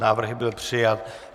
Návrh byl přijat.